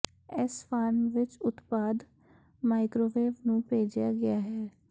ਇਸ ਫਾਰਮ ਵਿੱਚ ਉਤਪਾਦ ਮਾਈਕ੍ਰੋਵੇਵ ਨੂੰ ਭੇਜਿਆ ਗਿਆ ਹੈ